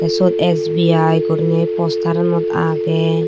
siyot S_B_I goriney postaranot agey.